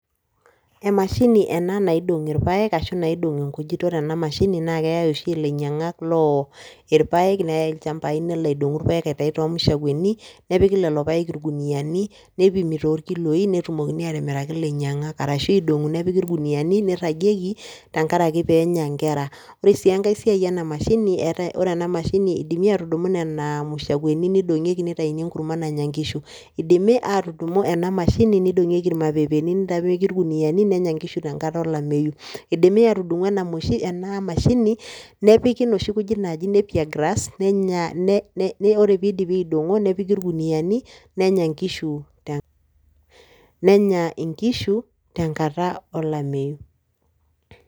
Emashini ena naidong' irpaek ashu naidong' inkujit. Ore ena mashini na keyai oshi ilainyang'ak loo irpaek neyai ilchambai nelo aidong'u irpaek aituyu toormashakuani nepiki lelo paek irkuniani nipimi torkiloi netumi atimiraki ilainyang'ak arashu idong'i nepiki irkuniani neiragieki tenkaraki penya nkera. Ore sii enkae siai ena mashini, ore ena mashini idimi atudumu nena mashakuani neidong'ieki nitayuni enkurma nanya nkishu. Idimi atudumu ena mashini nidong'ieki mapepeni nepiki irkuniani nenya nkishu tenkata olameyu. Idimi atudumu ena mashini nepiki noshi kujit naaji nappier grass, ore pidipi aidong'o nepiki irguniani nenya nkishu tenkata olameyu.